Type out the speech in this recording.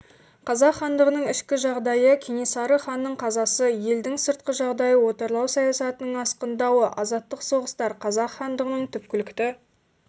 қазақ хандығының ішкі жағдайы кенесары ханның қазасы елдің сыртқы жағдайы отарлау саясатының асқындауы азаттық соғыстар қазақ хандығының түпкілікті